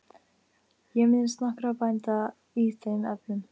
Ég minnist nokkurra bænda í þeim efnum.